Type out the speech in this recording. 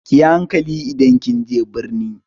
Ki yi hankali idan kin je birni!